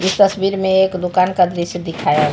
इस तस्वीर में एक दुकान का दृश्य दिखाया गया--